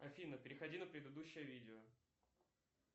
афина переходи на предыдущее видео